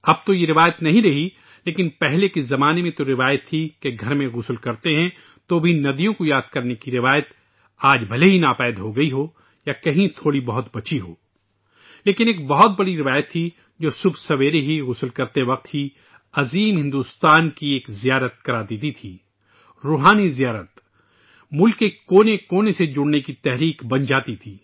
اب تو یہ روایت نہیں رہی ، لیکن پہلے زمانے میں ایک روایت تھی کہ اگر ہم گھر میں نہاتے ہیں تو ندیوں کو یاد رکھنے کی روایت آج بھلے ہی ختم ہو گئی ہو یا بہت کم رہ گئی ہو لیکن ایک بہت بڑی روایت تھی جو صبح سویرے ہی غسل کرتے وقت ہی وسیع ہندوستان کا سفر کرا دیتی تھی ، ذہنی سفر! ملک کے کونے کونے سے جڑنے کے لیے ایک ترغیب بن جاتی تھی